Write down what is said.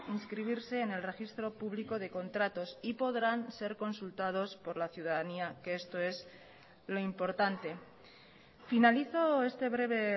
inscribirse en el registro público de contratos y podrán ser consultados por la ciudadanía que esto es lo importante finalizo este breve